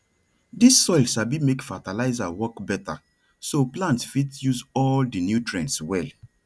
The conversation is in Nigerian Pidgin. dis soil sabi make fertilizer work better so plants fit use all di nutrients well